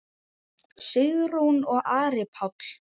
Sigrún og Ari Páll.